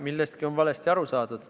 Millestki on valesti aru saadud.